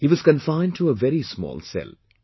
He was confined to a very small cell